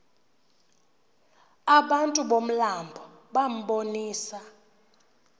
abantu bomlambo bambonisa